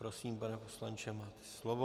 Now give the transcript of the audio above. Prosím, pane poslanče, máte slovo.